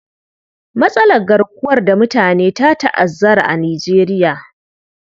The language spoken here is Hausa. Matsalar garkuwar da mutane ta ta'azzara a Nijeriya.